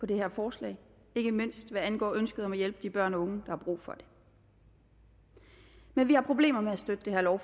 det her forslag ikke mindst hvad angår ønsket om at hjælpe de børn og unge har brug for det men vi har problemer med at støtte det her